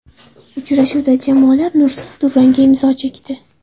Uchrashuvda jamoalar nursiz durangga imzo chekdi.